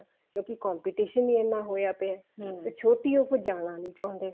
ਕਿਉਂਕਿ competition ਹੀ ਇੰਨਾ ਹੋਇਆ ਪਿਆ ਚ ਉਹ ਜਾਣਾ ਨੀ ਚਾਹੁੰਦੇ